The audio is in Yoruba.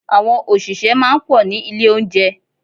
Àwọn òṣìṣẹ́ máa ń pọ̀ ní ilé oúnjẹ.